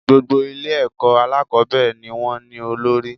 Gbogbo Ilé èkó alákòbéèrè ni wón ní olórí